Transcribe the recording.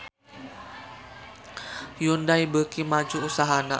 Hyundai beuki maju usahana